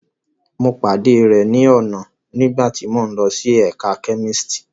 Mo pade rẹ ni ọna nigbati mo n lo si ẹka kemistri